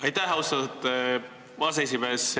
Aitäh, austatud aseesimees!